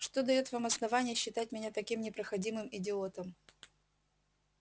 что даёт вам основание считать меня таким непроходимым идиотом